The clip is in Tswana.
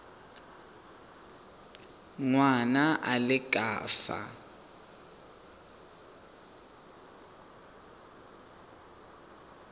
ngwana a le ka fa